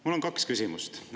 Mul on kaks küsimust.